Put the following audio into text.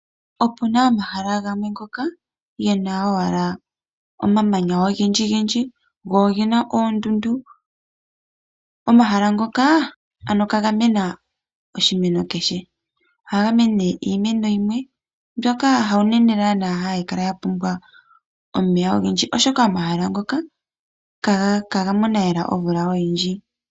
Opuna omahala gamwe ngoka gena owala omamanya ogendjigendji go ogena oondundu. Omahala ngoka ano kagamena oshimeno keshe, ohagamene iimeno yimwe mboka hayo naana hayikala yapumbwa omeya ogendji. Oshoka omahala ngoka kagamona lela omvula oyindji.